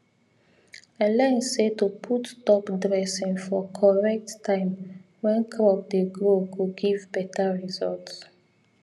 i learn say to put top dressing for correct time when crop dey grow go give better result